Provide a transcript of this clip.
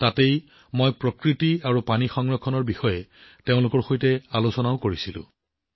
তাত তেওঁলোকৰ সৈতে প্ৰকৃতি আৰু পানী সংৰক্ষণৰ সন্দৰ্ভত আলোচনা কৰিলোঁ